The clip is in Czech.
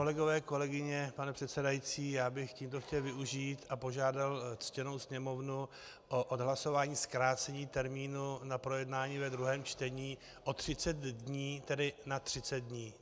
Kolegové, kolegyně, pane předsedající, já bych tímto chtěl využít a požádat ctěnou Sněmovnu o odhlasování zkrácení termínu na projednání ve druhém čtení o 30 dní, tedy na 30 dní.